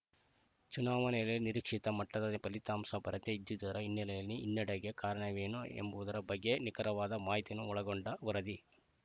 ಚುನಾವಣೆಯಲ್ಲಿ ನಿರೀಕ್ಷಿತ ಮಟ್ಟದ ಫಲಿತಾಂಶ ಬರದೇ ಇದ್ದಿದರೆ ಹಿನ್ನೆಲೆಯಲ್ಲಿ ಹಿನ್ನಡೆಗೆ ಕಾರಣವೇನು ಎಂಬುವುದರ ಬಗ್ಗೆ ನಿಖರವಾದ ಮಾಹಿತಿಯನ್ನು ಒಳಗೊಂಡ ವರದಿ